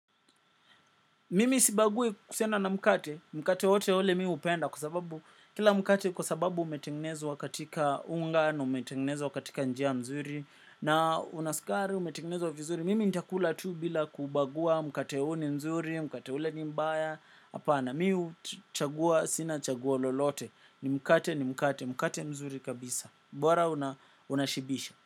Mimi sibagui kuhusiana na mkate, mkate wotewote mi hupenda kwa sababu kila mkate kwa sababu umetengenezwa katika unga na umetengenezwa katika njia nzuri na una sukari umetengenezwa vizuri. Mimi nitakula tu bila kubagua mkate huu ni mzuri, mkate ule ni mbaya, hapana mi huchagua, sina chaguo lolote. Ni mkate ni mkate, mkate mzuri kabisa. Bora unashibisha.